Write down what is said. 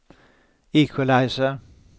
equalizer